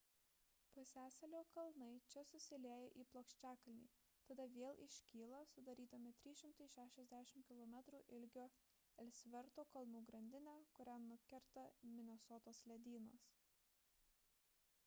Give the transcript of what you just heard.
pusiasalio kalnai čia susilieja į plokščiakalnį tada vėl iškyla sudarydami 360 km ilgio elsverto kalnų grandinę kurią nukerta minesotos ledynas